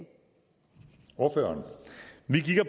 år